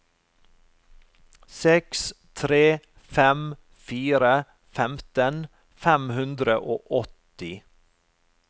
seks tre fem fire femten fem hundre og åtti